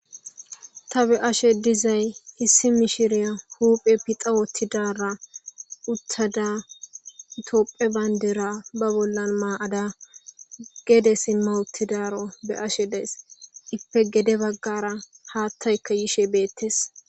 Ta beyashe dizay issi mishiriya huphphe pixa woththidara tophphiya bandira ba bolla mayada gedde siimma uttidaro beyashe dayssi iippekka gedde baggara haththaykka yishe des.